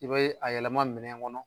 I bee a yɛlɛma minɛn ŋɔnɔ